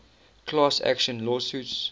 class action lawsuits